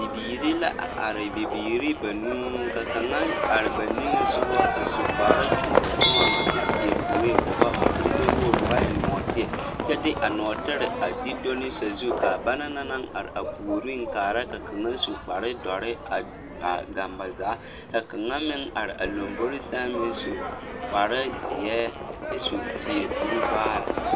Bibiire la a are biire banuu ka kaŋa are ba niŋesugɔ a su kpare kyõɔnɔkyõɔnɔ kyɛ seɛ kuree o ba kurigbɛwogre o ba eŋ nɔɔteɛ kyɛ de a nɔɔtire a de do ne sazu kaa ba naŋ na naŋ are a puoriŋ kaara ka kaŋa su kparedoɔre a gaŋ ba zaa ka kaŋa meŋ are a lombore sɛŋ meŋ su kparezeɛ kyɛ su seɛ kurivaare.